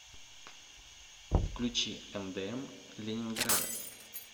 включи мдм ленинграда